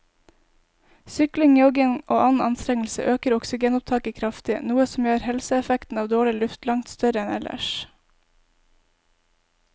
Sykling, jogging og annen anstrengelse øker oksygenopptaket kraftig, noe som gjør helseeffekten av dårlig luft langt større enn ellers.